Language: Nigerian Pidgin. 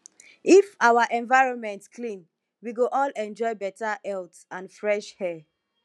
if our environment clean we go all enjoy beta health and fresh air